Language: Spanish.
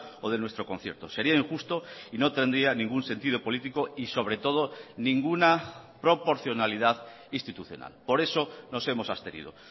o de nuestro concierto sería injusto y no tendría ningún sentido político y sobre todo ninguna proporcionalidad institucional por eso nos hemos abstenido